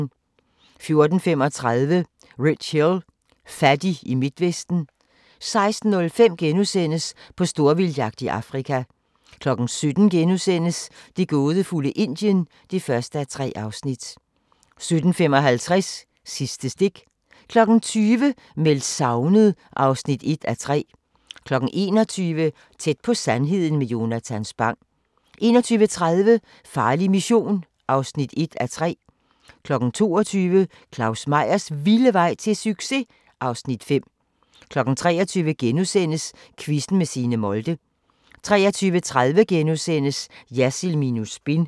14:35: Rich Hill – fattig i Midtvesten 16:05: På storvildtsjagt i Afrika * 17:00: Det gådefulde Indien (1:3)* 17:55: Sidste stik 20:00: Meldt savnet (1:3) 21:00: Tæt på sandheden med Jonatan Spang 21:30: Farlig Mission (1:3) 22:00: Claus Meyers vilde vej til succes! (Afs. 5) 23:00: Quizzen med Signe Molde * 23:30: Jersild minus spin *